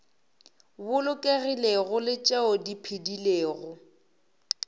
bolokegilego le tšeo di phedilego